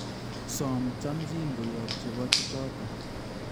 Soom chamchin koyob chebo chechoto